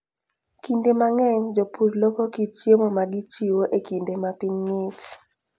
Kinde mang'eny, jopur loko kit chiemo ma gichiwo e kinde ma piny ng'ich.